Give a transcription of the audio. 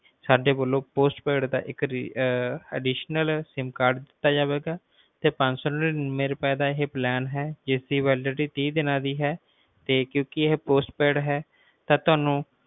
ਸਾਡੇ ਵੱਲੋਂ postpaid ਦਾ ਇੱਕ additionalsimcard ਦਿੱਤਾ ਜਾਵੇਗਾ ਤੇ ਪੰਜ ਸੌ ਨਾਨੀਂਵੇ ਰੁਪਏ ਦਾ ਇਹ plan ਆ ਜਿਸ ਦੀ validity ਤੀਹ ਦੀਨਾ ਦੀ ਹੈ ਤੇ ਕਿਉਕਿ ਇਹ postpaid ਹੈ ਇਸ ਲਯੀ